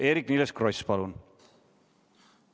Eerik-Niiles Kross, palun!